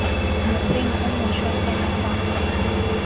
mokgweng o mošwa fela fa